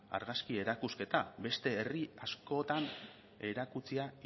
argazki erakusketa beste herri askoetan erakutsia